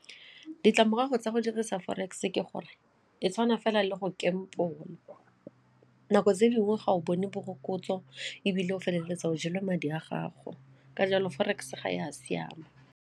Ditlamorago tsa go dirisa forex ke gore e tshwana fela le go gamble, nako tse dingwe ga o bone morokotso ebile o feleletsa o jelwe madi a gago ka jalo forex ga ya siama.